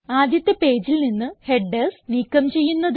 ആദ്യത്തെ പേജിൽ നിന്ന് ഹെഡർസ് നീക്കം ചെയ്യുന്നത്